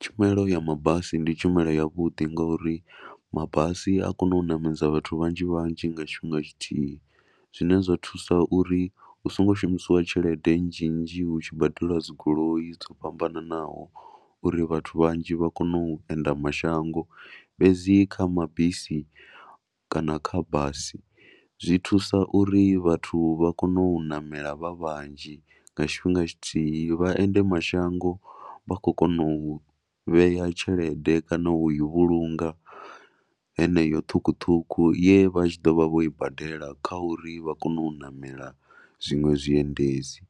Tshumelo ya mabasi ndi tshumelo yavhuḓi ngauri mabasi a kona u ṋamedza vhathu vhanzhi vhanzhi nga tshifhinga tshithihi zwine zwa thusa uri hu songo shumisiwa tshelede nnzhi nnzhi hu tshi badeliwa dzi goloi dzo fhambanaho uri vhathu vhanzhi vha kone u enda mashango. Fhedzi kha mabisi kana kha basi zwi thusa uri vhathu vha kone u ṋamela vha vhanzhi nga tshifhinga tshithihi. Vha ende mashango vha khou kona u vhea tshelede kana u yi vhulunga heneyo ṱhukhuṱhukhu ye vha tshi ḓo vha vho i badela uri vha kone u ṋamela zwiṅwe zwiendedzi.